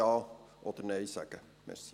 Ja oder Nein sagen kann.